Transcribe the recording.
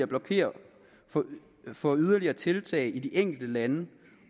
blokere for yderligere tiltag i de enkelte lande